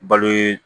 Balo